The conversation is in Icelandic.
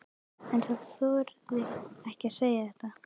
En hann þorði ekki að segja þetta.